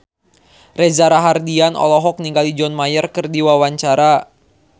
Reza Rahardian olohok ningali John Mayer keur diwawancara